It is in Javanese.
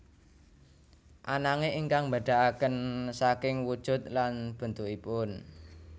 Ananging ingkang mbédakaken saking wujud lan bentukipun